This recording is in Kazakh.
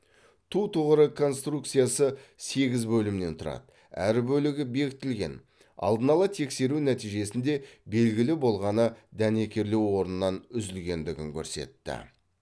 ту тұғыры конструкциясы сегіз бөлімнен тұрады әр бөлігі бекітілген алдын ала тексеру нәтижесінде белгілі болғаны дәнекерлеу орнынан үзілгендігін көрсетті